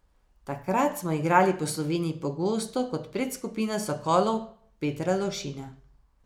Takrat smo igrali po Sloveniji pogosto kot predskupina Sokolov Petra Lovšina.